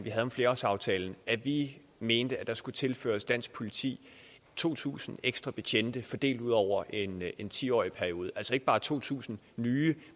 havde om flerårsaftalen at vi mente at der skulle tilføres dansk politi to tusind ekstra betjente fordelt ud over en en ti årig periode altså ikke bare to tusind nye